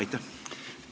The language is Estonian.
Aitäh!